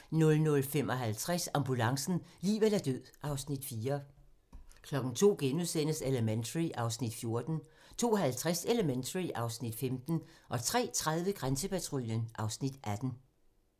00:55: Ambulancen - liv eller død (Afs. 4) 02:00: Elementary (Afs. 14)* 02:50: Elementary (Afs. 15) 03:30: Grænsepatruljen (Afs. 18)